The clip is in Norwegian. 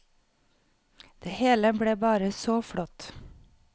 Det hele ble bare så flott.